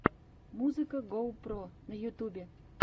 музыка гоу про на ютьюбе